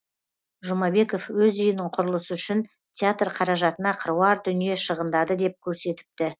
жұмабеков өз үйінің құрылысы үшін театр қаражатына қыруар дүние шығындады деп көрсетіпті